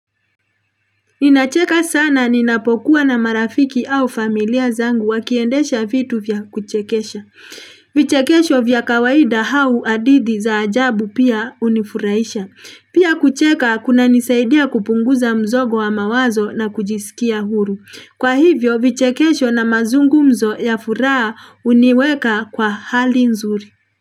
Ninacheka sana ninapokuwa na marafiki au familia zangu wakiendesha vitu vya kuchekesha. Vichekesho vya kawaida hau adithi za ajabu pia unifuraisha. Pia kucheka kuna nisaidia kupunguza mzogo wa mawazo na kujisikia huru. Kwa hivyo vichekesho na mazungumzo ya furaha uniweka kwa hali nzuri.